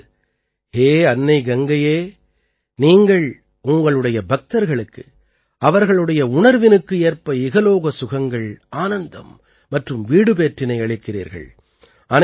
அதாவது ஹே அன்னை கங்கையே நீங்கள் உங்களுடைய பக்தர்களுக்கு அவர்களுடைய உணர்வினுக்கு ஏற்ப இகலோக சுகங்கள் ஆனந்தம் மற்றும் வீடுபேற்றினை அளிக்கிறீர்கள்